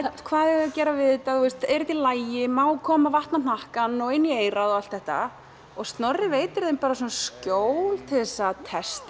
hvað eiga þau að gera við þetta er þetta í lagi má koma vatn á hnakkann og inn í eyrað og allt þetta og Snorri veitir þeim skjól til að